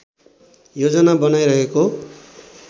योजना बनाइरहेको